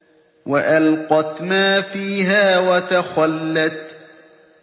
وَأَلْقَتْ مَا فِيهَا وَتَخَلَّتْ